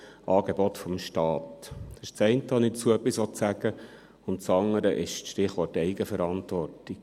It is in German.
Dies ist das eine, zu dem ich etwas sagen möchte, und das andere ist das Stichwort Eigenverantwortung.